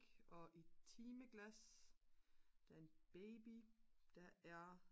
og et timeglas der er en baby der er